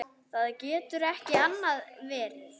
Það getur ekki annað verið.